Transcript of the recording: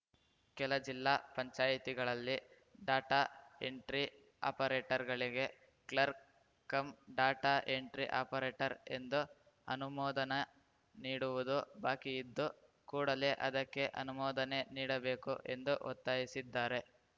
ಕೆಲ ಜಿಲ್ಲಾ ಪಂಚಾಯಿತಿಗಳಲ್ಲಿ ಡಾಟಾ ಎಂಟ್ರಿ ಆಪರೇಟರ್‌ಗಳಿಗೆ clerk cum data entry operator ಎಂದು ಅನುಮೋದನೆ ನೀಡುವುದು ಬಾಕಿಯಿದ್ದು ಕೂಡಲೇ ಅದಕ್ಕೆ ಅನುಮೋದನೆ ನೀಡಬೇಕು ಎಂದು ಒತ್ತಾಯಿಸಿದ್ದಾರೆ